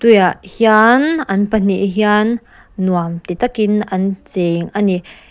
hian an pahnih hian nuam ti takin an cheng a ni.